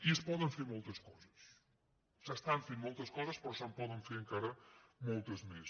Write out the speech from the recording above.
i es poden fer moltes coses s’estan fent moltes coses però se’n poden fer encara moltes més